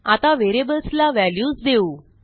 आता व्हेरिएबल्सला व्हॅल्यूज देऊ